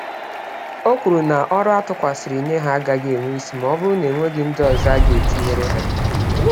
Okwuru na, ọrụ atụkwasịrị nye ha, agaghị enwe ísì, mọbụrụ na enweghị ndị ọzọ aga etinyere ha